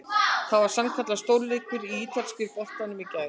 Það var sannkallaður stórleikur í ítalska boltanum í kvöld!